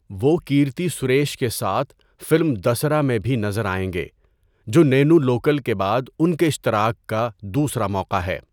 وہ کیرتی سریش کے ساتھ فلم دسَرا میں بھی نظر آئیں گے، جو نینو لوکل کے بعد ان کے اشتراک کا دوسرا موقع ہے۔